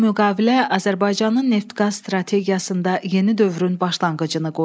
Bu müqavilə Azərbaycanın neft-qaz strategiyasında yeni dövrün başlanğıcını qoydu.